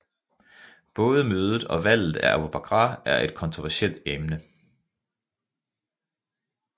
Både mødet og valget af Abu Bakr er et kontroversielt emne